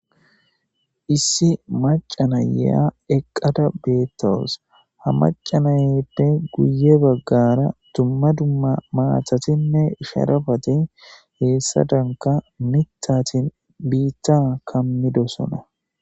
Issi maca na'ya eqada betawus . Ha maca ba'eyppe guye bagara dumma dumma matatinne sharapat hesadanka mithat biita kamidosona.